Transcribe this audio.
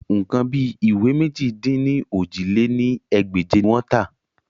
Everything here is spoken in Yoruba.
Nǹkan bí ìwé mèjì-dín-ní-ojì lé ní ẹgbẹ́je ni wọ́n tà